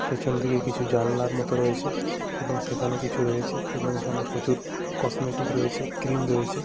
পেছন দিকে কিছু জানলার মতন রয়েছে এবং সেখানে কিছু রয়েছে এবং এখানে প্রচুর কসমেটিক রয়েছে ক্রিম রয়েছে ।